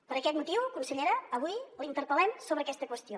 per aquest motiu consellera avui la interpel·lem sobre aquesta qüestió